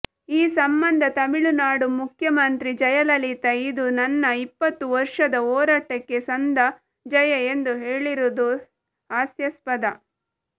ಈ ಸಂಬಂಧ ತಮಿಳುನಾಡು ಮುಖ್ಯಮಂತ್ರಿ ಜಯಲಲಿತಾ ಇದು ನನ್ನ ಇಪ್ಪತ್ತು ವರ್ಷದ ಹೋರಾಟಕ್ಕೆ ಸಂದ ಜಯ ಎಂದು ಹೇಳಿರುವುದು ಹಾಸ್ಯಾಸ್ಪದ